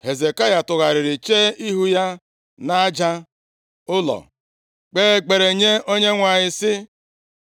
Hezekaya tụgharịrị chee ihu ya nʼaja ụlọ, kpee ekpere nye Onyenwe anyị, sị,